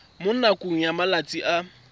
mo nakong ya malatsi a